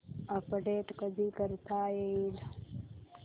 update कधी करता येईल